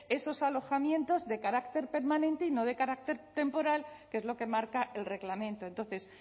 esos alojamientos de carácter permanente y no de carácter temporal que es lo que marca el reglamento entonces